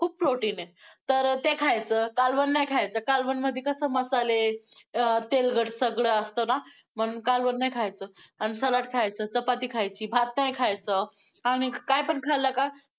खूप protein आहे, तर~ ते खायचं, कालवण नाही खायचं, कालवण मध्ये कसं मसाले~ अं तेलकट सगळं असतं ना~ म्हणून कालवण नाही खायचं. आन सलाड खायचं, चपाती खायची, भात नाही खायचं आणि कायपण खाल्लं का